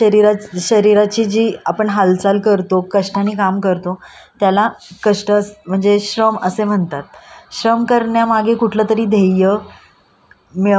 श्रम करण्या मागे कुठल तरी ध्येय मिळवण्याचा विचार असतो. जर मोबदल्याची अपेक्षा असेल तर कार्य कार्याला पण श्रम म्हणू शकतो.